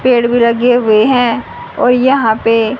पेड़ भी लगे हुए है औ यहा पे--